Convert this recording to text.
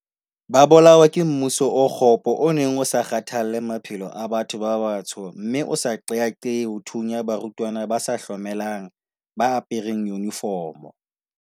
Ba bolawa ke mmuso o kgopo o neng o sa kgathalle maphelo a batho ba batsho mme o sa qeaqee ho thunya barutwana ba sa hlomelang ba apereng yunifomo.